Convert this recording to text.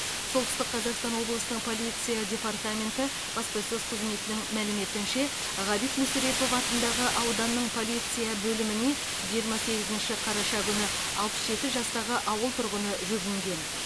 солтүстік қазақстан облысы полиция департаменті баспасөз қызметінің мәліметінше ғабит мүсірепов атындағы ауданның полиция бөліміне жиырма сегізінші қараша күні алпыс жеті жастағы ауыл тұрғыны жүгінген